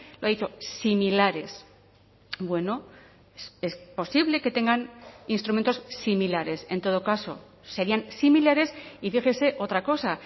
lo ha dicho similares bueno es posible que tengan instrumentos similares en todo caso serían similares y fíjese otra cosa